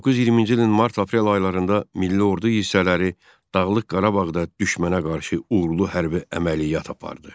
1920-ci ilin mart-aprel aylarında milli ordu hissələri Dağlıq Qarabağda düşmənə qarşı uğurlu hərbi əməliyyat apardı.